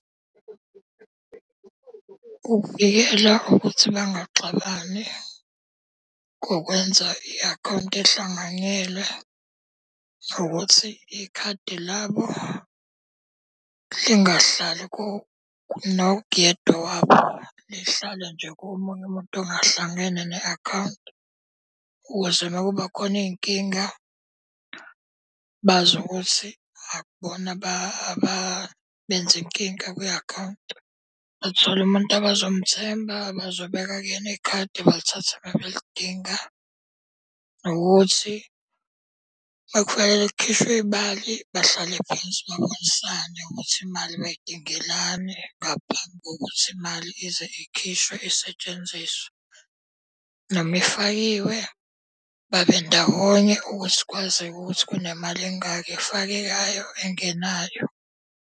Ukuvikela ukuthi bangaxabani ngokwenza i-akhawunti ehlanganyelwe, ukuthi ikhadi labo lingahlali nokuyedwa wabo. Lihlale nje komunye umuntu ongahlangene ne-akhawunti ukuze makubakhona iy'nkinga, bazi ukuthi akubona abenze inkinga kwi-akhawunti. Bathole umuntu abazomthemba abazobeka kuyena ikhadi balithatha uma belidinga. Nokuthi uma kufanele kukhishwe imali bahlale phansi babonisane ukuthi imali bayidingelani ngaphambi kokuthi imali ize ikhishwe isetshenziswe. Noma ifakiwe babe ndawonye ukuthi kwazeke ukuthi kunemali engaka efakekayo engenayo.